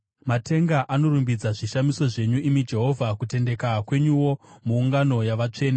Matenga anorumbidza zvishamiso zvenyu, imi Jehovha, kutendeka kwenyuwo muungano yavatsvene.